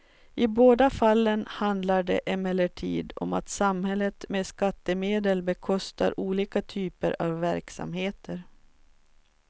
I båda fallen handlar det emellertid om att samhället med skattemedel bekostar olika typer av verksamheter.